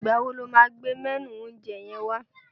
Ìgbà wo ló máa gbé mẹ́nù oúnjẹ yẹn wá?